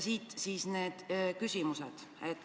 Siit siis minu küsimused.